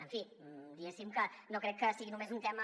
en fi diguéssim que no crec que sigui només un tema